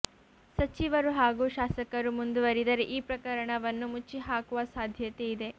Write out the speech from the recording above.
ಸಚಿವರು ಹಾಗೂ ಶಾಸಕರು ಮುಂದುವರಿದರೆ ಈ ಪ್ರಕರಣವನ್ನು ಮುಚ್ಚಿಹಾಕುವ ಸಾಧ್ಯತೆ ಇದೆ